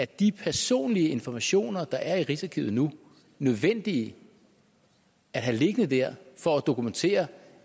de personlige informationer der er i rigsarkivet nu nødvendige at have liggende der for at dokumentere